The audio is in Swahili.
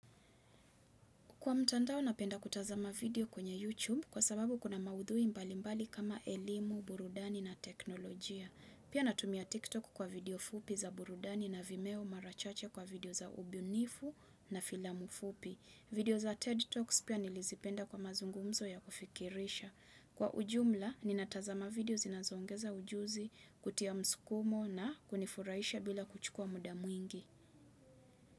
Kwa mtandao napenda kutazama video kwenye YouTube kwa sababu kuna maudhui mbali mbali kama elimu, burudani na teknolojia. Pia natumia TikTok kwa video fupi za burudani na vimeo mara chache kwa video za ubunifu na filamu fupi. Video za TED Talks pia nilizipenda kwa mazungumzo ya kufikirisha. Kwa ujumla, ninatazama video zinazoongeza ujuzi kutia mskumo na kunifurahisha bila kuchukua muda mwingi.